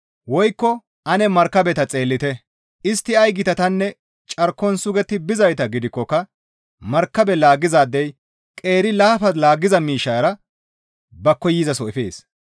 Woykko ane markabeta xeellite; istti ay gitatanne carkon sugetti bizayta gidikkoka markabe laaggizaadey qeeri laafa laaggiza miishshara ba koyzaso efees.